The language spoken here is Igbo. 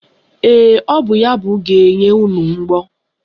Ee, o bụ ya bụ ga-enye unu mgbọ.